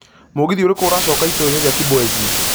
mũgithi ũrikũ ũracoka itũũra-inĩ rĩa kibwezi